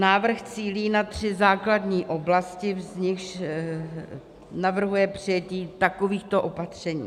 Návrh cílí na tři základní oblasti, z nichž navrhuje přijetí takovýchto opatření: